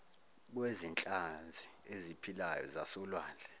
kwezinhlanzi eziphilayo zasolwandle